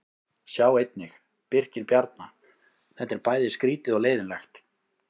Sjá einnig: Birkir Bjarna: Þetta er bæði skrýtið og leiðinlegt